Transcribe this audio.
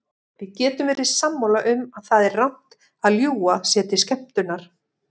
Við getum verið sammála um að það er rangt að ljúga sér til skemmtunar.